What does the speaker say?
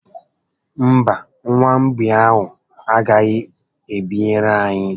Mba, nwa mgbei ahụ a gaghị ebinyere anyị